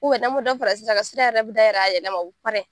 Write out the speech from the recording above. n'an be dɔ fara kan, sira yɛrɛ be dayɛlɛ a yɛrɛ ma wo pɛrɛ.